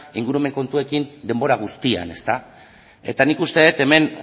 ingurumen kontuekin denbora guztian eta nik uste dut hemen